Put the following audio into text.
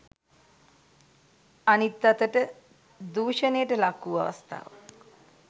අනිත් අතට දූෂණයට ලක්වූ අවස්ථාවක්